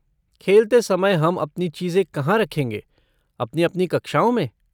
खेलते समय हम अपनी चीज़ें कहाँ रखेंगे, अपनी अपनी कक्षाओं में?